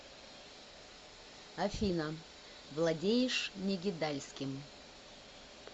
афина владеешь негидальским